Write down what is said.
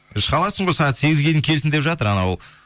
шыға аласың ғой сағат сегізге дейін келсін деп жатыр анау